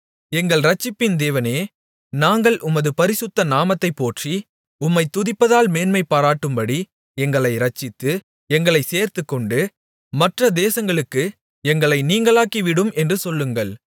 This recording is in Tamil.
எங்கள் இரட்சிப்பின் தேவனே நாங்கள் உமது பரிசுத்த நாமத்தைப் போற்றி உம்மைத் துதிப்பதால் மேன்மைபாராட்டும்படி எங்களை இரட்சித்து எங்களை சேர்த்துக்கொண்டு மற்ற தேசங்களுக்கு எங்களை நீங்கலாக்கிவிடும் என்று சொல்லுங்கள்